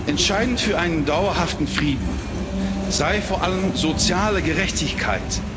entscheidend für einen dauerhaften Frieden sei vor allem soziale Gerechtigkeit.